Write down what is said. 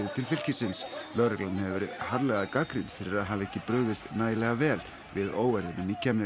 til fylkisins lögreglan hefur verið harðlega gagnrýnd fyrir að hafa ekki brugðist nægilega vel við óeirðunum í